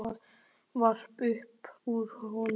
Hann stæði varla upp úr honum.